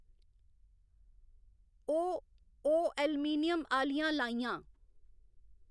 ओह् ओह् एल्मीनियम आह्‌लियां लाइयां।